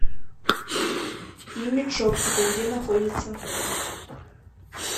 имидж оптика где находится